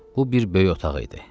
Bu bir böyük otaq idi.